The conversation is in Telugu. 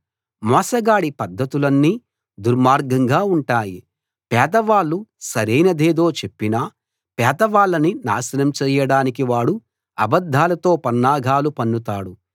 మోసగాడి పద్ధతులన్నీ దుర్మార్గంగా ఉంటాయి పేదవాళ్ళు సరైనదేదో చెప్పినా పేదవాళ్ళని నాశనం చేయడానికి వాడు అబద్దాలతో పన్నాగాలు పన్నుతాడు